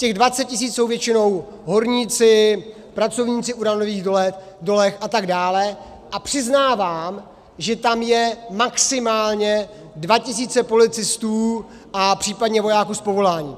Těch 20 tisíc jsou většinou horníci, pracovníci v uranových dolech atd., a přiznávám, že tam jsou maximálně 2 tisíce policistů a případně vojáků z povolání.